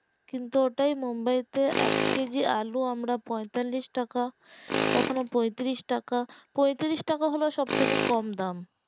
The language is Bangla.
কিন্তু ওটাই বোম্বে তে এক কেজি আলু পঁয়তাল্লিশ টাকা কখন পঁয়ত্রিশ টাকা পঁয়ত্রিশ টাকা হলো সব থেকে কম দাম